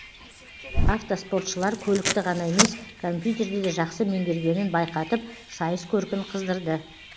автоспортшылар көлікті ғана емес компьютерді де жақсы меңгергенін байқатып сайыс көркін қыздырды